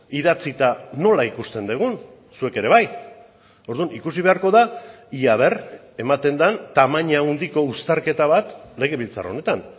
idatzita nola ikusten dugun zuek ere bai orduan ikusi beharko da ia a ver ematen den tamaina handiko uztarketa bat legebiltzar honetan